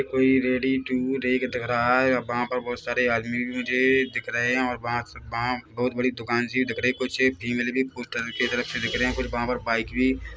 कोई ready to रेक दिख रहा हैं और वहाँ पर बहोत सारे आदमी भी मुझे दिख रहे हैं और वहाँ वहाँ बहोत बड़ी दुकान सी दिख रही हैं कुछ एक फीमेल भी दिख रहे हैं कुछ वहाँ पर बाइक भी--